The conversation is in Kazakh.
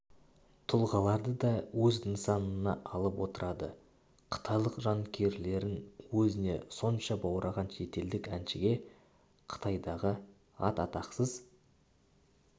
тұлғаларды да өз нысанына алып отырады қытайлық жанкүйерлерін өзіне сонша баураған шетелдік әншіге қытайдағы ат-атақсыз